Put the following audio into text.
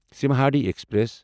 Simhadri express